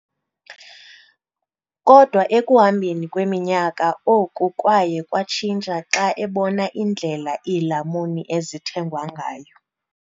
Kodwa ekuhambeni kweminyaka, oku kwaye kwatshintsha xa ebona indlela iilamuni ezithengwa ngayo.